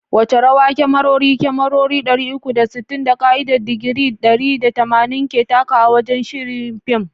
Wace rawa kyamarori, kyamarori dari uku da sittin, da ka’idar digiri dari da tamanin ke takawa wajen shirya fim?